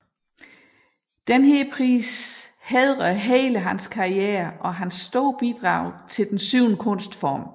Denne pris hædrer hele hans karriere og hans store bidrag til den syvende kunstform